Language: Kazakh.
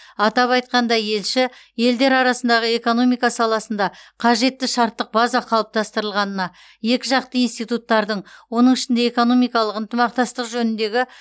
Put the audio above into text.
атап айтқанда елші елдер арасында экономика саласында қажетті шарттық база қалыптастырылғанына екіжақты институттардың оның ішінде экономикалық ынтымақтастық жөніндегі